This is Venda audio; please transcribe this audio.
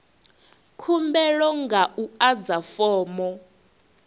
khumbelo nga u adza fomo